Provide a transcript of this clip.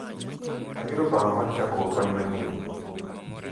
ayudo paro mar chako kony manyien